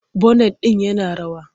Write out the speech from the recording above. Bonet din yana rawa.